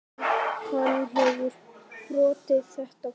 Hann hefur brotið þetta form.